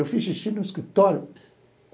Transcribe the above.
Eu fiz xixi no escritório.